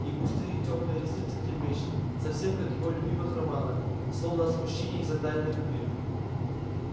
и густые тёмные ресницы трепещут совсем как в его любимых романах словно от смущении и затаённой любви